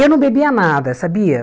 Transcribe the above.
Eu não bebia nada, sabia?